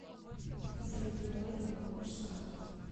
салют давай ты мне купишь скраб